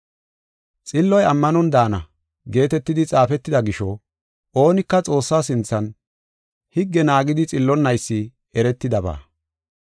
“Xilloy ammanon daana” geetetidi xaafetida gisho, oonika Xoossaa sinthan higge naagidi xillonnaysi eretidaba.